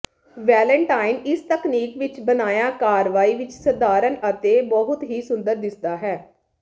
Valentine ਇਸ ਤਕਨੀਕ ਵਿੱਚ ਬਣਾਇਆ ਕਾਰਵਾਈ ਵਿੱਚ ਸਧਾਰਨ ਹੈ ਅਤੇ ਬਹੁਤ ਹੀ ਸੁੰਦਰ ਦਿਸਦਾ ਹੈ